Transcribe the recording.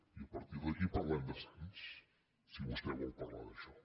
i a partir d’aquí parlem de sants si vostè vol parlar d’això